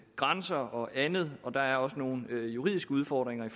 grænser og andet og der er også nogle juridiske udfordringer